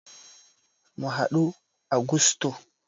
Mu haɗu a gusto